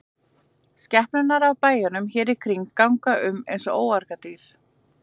Skepnurnar af bæjunum hér í kring ganga um eins og óargadýr.